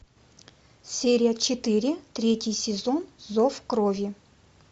серия четыре третий сезон зов крови